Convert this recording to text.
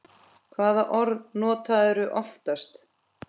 Hvaða orð notarðu oftast?